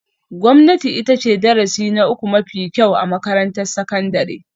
Gwamnati ita ce darasi na uku mafi kyau a makarantar sakandare